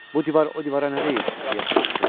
Bu divar o divara nə deyir, deyə soruşdum.